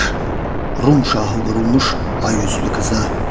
Rum şahı vurulmuş ay üzlü qıza.